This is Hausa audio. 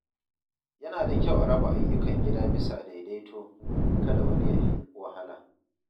Yana da kyau a raba ayyukan gida bisa daidaito domin kada wani ya fi wahala.